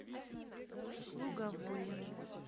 луговое